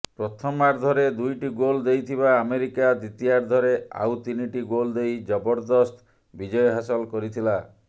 ପ୍ରଥମାର୍ଧରେ ଦୁଇଟି ଗୋଲ୍ ଦେଇଥିବା ଆମେରିକା ଦ୍ୱିତୀୟାର୍ଧରେ ଆଉ ତିନିଟି ଗୋଲ୍ ଦେଇ ଜବରଦସ୍ତ ବିଜୟ ହାସଲ କରିଥିଲା